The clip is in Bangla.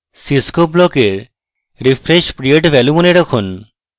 cscope block এর refresh period value মনে রাখুন